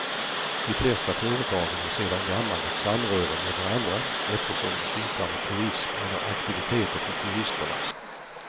De flesta företagen har sedan gammalt ett samröre med varandra eftersom de sysslar med turism eller aktiviteter för turisterna.